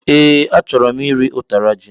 E, achọrọ m iri utara ji